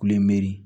Kule meri